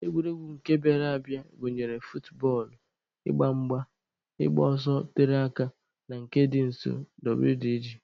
Egwuregwu nke bịara abịa gụnyere futbọọlụ, ịgba mgba, ịgba ọsọ tere aka na nke dị nso wdg.